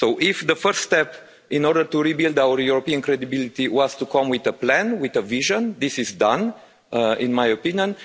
So if the first step in order to rebuild our European credibility was to come with a plan, with a vision, this is done, in my opinion.